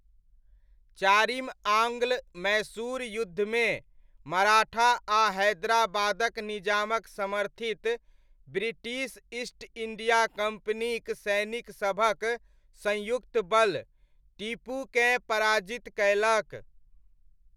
चारिम आङ्ग्ल मैसूर युद्धमे, मराठा आ हैदराबादक निजामक समर्थित, ब्रिटिश ईस्ट इण्डिया कम्पनीक सैनिकसभक संयुक्त बल, टीपूकेँ पराजित कयलक।